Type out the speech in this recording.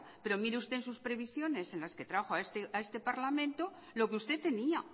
pero mire usted en sus previsiones en las que trajo a este parlamento lo que usted tenía